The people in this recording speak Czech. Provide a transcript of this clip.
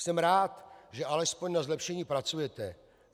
Jsem rád, že alespoň na zlepšení pracujete.